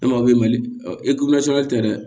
E ma b'i mali ɔn e tɛ dɛ